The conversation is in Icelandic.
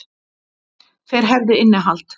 Þeir hefðu innihald.